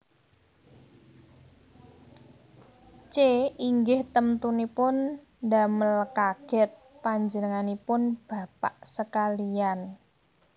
C Inggih temtunipun damel kagèt panjenenganipun bapak sekaliyan